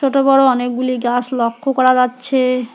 ছোট বড়ো অনেকগুলি গাছ লক্ষ্য করা যাচ্ছে।